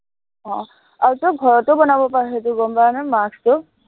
আহ আৰু তই ঘৰতো বনাব পাৰ সেইটো গম পাৱনে, mask টো